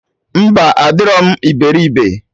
Mba, adịrọ m iberibe